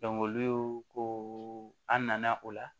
olu ko ko an nana o la